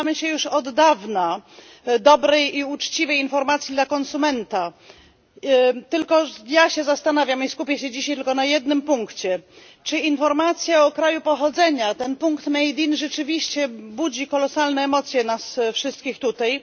Domagamy się już od dawna dobrej i uczciwej informacji dla konsumenta, tylko ja się zastanawiam i skupię się dzisiaj tylko na jednym punkcie, czy informacja o kraju pochodzenia, ten punkt made in rzeczywiście budzi kolosalne emocje w nas wszystkich tutaj.